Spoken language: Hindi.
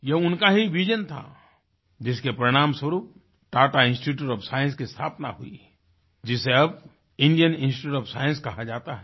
ये उनका ही विजन था जिसके परिणामस्वरूप टाटा इंस्टीट्यूट ओएफ साइंस की स्थापना हुई जिसे अब इंडियन इंस्टीट्यूट ओएफ साइंस कहा जाता है